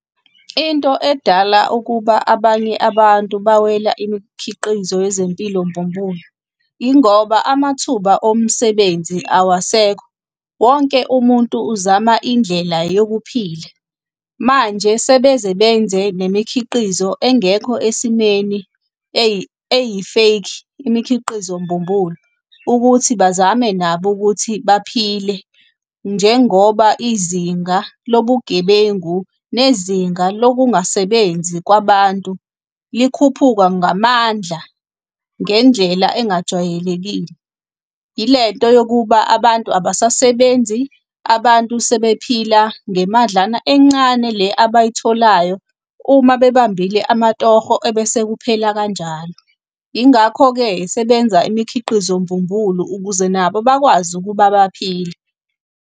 Into edala ukuba abanye abantu bawela imikhiqizo yezempilo mbumbulu, yingoba amathuba omsebenzi awasekho, wonke umuntu uzama indlela yokuphila. Manje sebeze benze nemikhiqizo engekho esimeni eyi-fake, imikhiqizo mbumbulu, ukuthi bazame nabo ukuthi baphile njengoba izinga lobugebengu nezinga lokungasebenzi kwabantu likhuphuka ngamandla ngendlela engajwayelekile. Ilento yokuba abantu abasasebenzi, abantu sebephila ngemadlana encane le abayitholayo uma bebambile amatoho ebese kuphela kanjalo. Yingakho-ke sebenza imikhiqizo mbumbulu ukuze nabo bakwazi ukuba baphile.